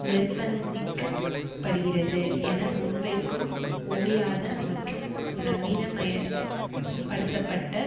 நிர்பந்திக்கப் படுகிறது என முன்வைக்கும் ஓயாத மற்றும் நவீனமய படுத்தப்பட்ட